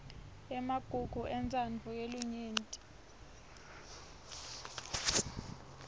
emagugu entsandvo yelinyenti